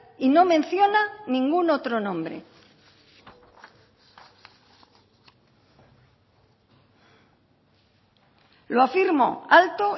y no menciona ningún otro nombre lo afirmo alto